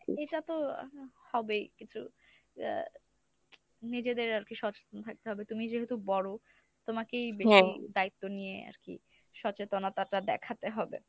এটা তো আহ হবেই কিছু। এর নিজেদের আরকি সচেতন থাকতে হবে, তুমি যেহেতু বড় তোমাকেই বেশি দায়িত্ব নিয়ে আরকি সচেতনতাটা দেখাতে হবে।